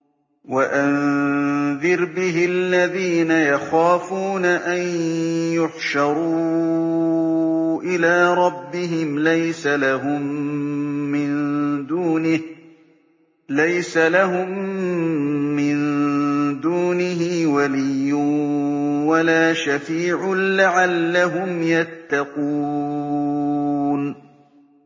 وَأَنذِرْ بِهِ الَّذِينَ يَخَافُونَ أَن يُحْشَرُوا إِلَىٰ رَبِّهِمْ ۙ لَيْسَ لَهُم مِّن دُونِهِ وَلِيٌّ وَلَا شَفِيعٌ لَّعَلَّهُمْ يَتَّقُونَ